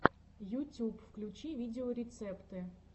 ютюб включи видеорецепты